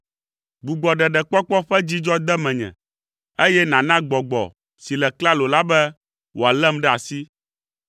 Gbugbɔ ɖeɖekpɔkpɔ ƒe dzidzɔ de menye, eye nàna gbɔgbɔ si le klalo la be wòalém ɖe asi.